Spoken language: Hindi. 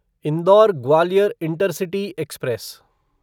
indoor Gwalior intercity express